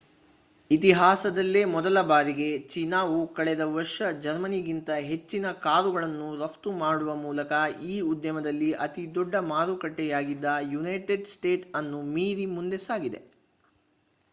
ಇತಿಹಾಸದಲ್ಲೇ ಮೊದಲ ಬಾರಿಗೆ ಚೀನಾವು ಕಳೆದ ವರ್ಷ ಜರ್ಮನಿಗಿಂತ ಹೆಚ್ಚಿನ ಕಾರುಗಳನ್ನು ರಫ್ತು ಮಾಡುವ ಮೂಲಕ ಈ ಉದ್ಯಮಲ್ಲಿ ಅತಿದೊಡ್ಡ ಮಾರುಕಟ್ಟೆಯಾಗಿದ್ದ ಯುನೈಟೆಡ್ ಸ್ಟೇಟ್ಸ್ ಅನ್ನು ಮೀರಿ ಮುಂದೆ ಸಾಗಿದೆ